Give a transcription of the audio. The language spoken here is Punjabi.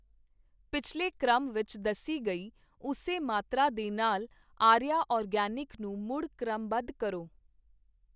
ਪਿਛਲੇ ਕ੍ਰਮ ਵਿੱਚ ਦੱਸੀ ਗਈ ਉਸੇ ਮਾਤਰਾ ਦੇ ਨਾਲ ਆਰੀਆ ਆਰਗੈਨਿਕ ਨੂੰ ਮੁੜ ਕ੍ਰਮਬੱਧ ਕਰੋ।